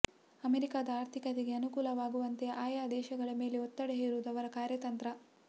ಅಮೆರಿಕದ ಆರ್ಥಿಕತೆಗೆ ಅನುಕೂಲವಾಗುವಂತೆ ಆಯಾ ದೇಶಗಳ ಮೇಲೆ ಒತ್ತಡ ಹೇರುವುದು ಅವರ ಕಾರ್ಯತಂತ್ರ